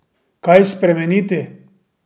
Kaj spremeniti?